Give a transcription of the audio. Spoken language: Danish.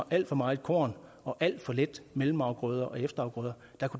alt for meget korn og alt for lidt mellemafgrøder og efterafgrøder